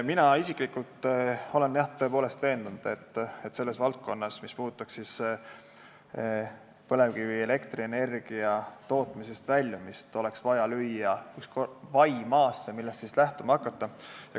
Mina isiklikult olen, jah, tõepoolest, veendunud, et selles valdkonnas, mis puudutab põlevkivielektrienergia tootmisest väljumist, oleks vaja lüüa üks vai maasse, millest siis saaks lähtuma hakata.